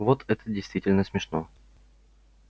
вот это действительно смешно